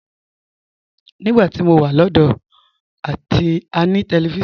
Nígbà tí mo wà lọ́dọ̀ọ́, a ní tẹlifíṣọ̀n aláwọ̀ dúdú àti funfun kékeré kan nínú yàrá wa.